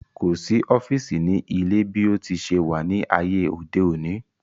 Kò sí ọ́fìsì ní ilé bí ó ti se wà ní ayé òde òni